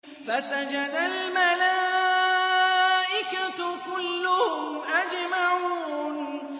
فَسَجَدَ الْمَلَائِكَةُ كُلُّهُمْ أَجْمَعُونَ